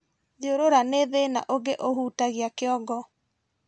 Thiũrũra nĩ thĩna ũngĩ ũhutagia kĩongo